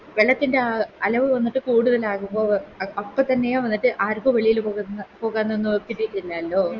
വെള്ളത്തിൻറെ ആ അലവ് വന്നിട്ട് അഹ് കൂടുതലാകുമ്പോ അഹ് അപ്പൊത്തന്നെയോ അതായത് ആർക്കും വെളിയിലൊന്നും പോകാനൊന്നും ഇല്ലാലോ